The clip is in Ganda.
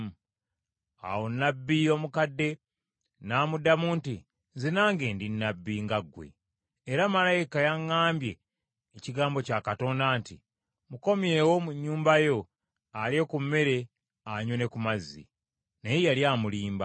Awo nnabbi omukadde n’amuddamu nti, “Nze nange ndi nnabbi nga ggwe. Era malayika yaŋŋambye ekigambo kya Katonda nti, ‘Mukomyewo mu nnyumba yo alye ku mmere anywe ne ku mazzi.’ ” Naye yali amulimba.